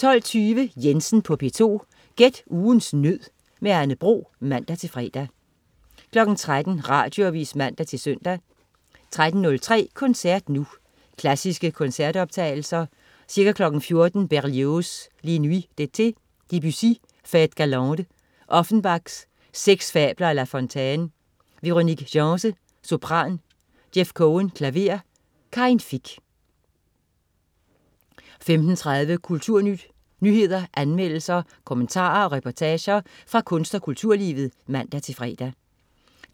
12.20 Jensen på P2. Gæt ugens nød. Anne Bro (man-fre) 13.00 Radioavis (man-søn) 13.03 Koncert Nu. Klassiske koncertoptagelser. Ca. 14.00 Berlioz: Les Nuits d'été. Debussy: Fêtes galantes. Offenbach: Seks fabler af La Fontaine. Véronique Gens, sopran. Jeff Cohen, klaver. Karin Fich 15.30 Kulturnyt. nyheder, anmeldelser, kommentarer og reportager fra kunst- og kulturlivet (man-fre) 16.00